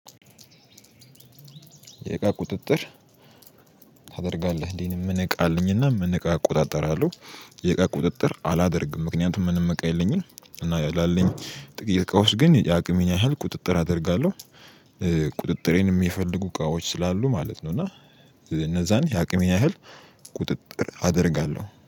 የእቃ ቁጥጥር ታደርጋለህ እንዴ? ምን እቃ አልኝና ምን እቃ እቆጣጠራለሁ። የእቃ ቁጥጥር አላደርግም ምክንያቱም ምንም እቃ የለኝም እና ላለኝ ጥቂት እቃዎች ግን የአቅሜን ያህል ቁጥጥር አደርጋለሁ ቁጥጥሬንም የፈለጉ እቃዎች ስላሉ ማለት ነው። እና እነዛን የአቅሜን ያህል ቁጥጥር አደርጋለሁ